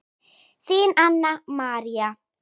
Þín, Anna María.